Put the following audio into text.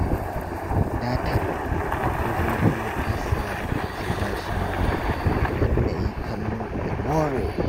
Datar dubu biyu na saya daga albashina don na yi kallo na more